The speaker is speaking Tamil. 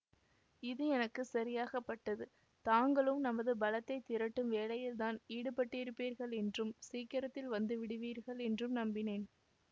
இது எனக்கு சரியாகப்பட்டது தாங்களும் நமது பலத்தைத் திரட்டும் வேலையில் தான் ஈடுபட்டிருப்பீர்களென்றும் சீக்கிரத்தில் வந்து விடுவீர்கள் என்றும் நம்பினேன்